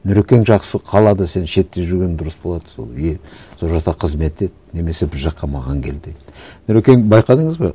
нұрекен жақсы қалады сен шетте жүргенің дұрыс болады сол е сол жақта қызмет ет немесе біз жаққа маған кел деді нұрекен байқадыңыз ба